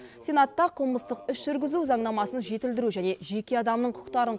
сенатта қылмыстық іс жүргізу заңнамасын жетілдіру және жеке адамның құқықтарын